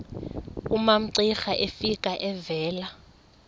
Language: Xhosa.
umamcira efika evela